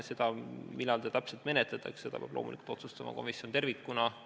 Seda, millal eelnõu täpselt menetletakse, peab loomulikult otsustama komisjon tervikuna.